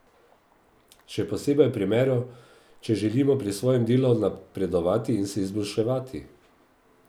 Še posebej v primeru, če želimo pri svojem delu napredovati in se izboljševati.